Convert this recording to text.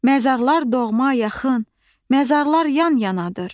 Məzarlar doğma, yaxın, məzarlar yan-yanadır.